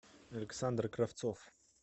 александр кравцов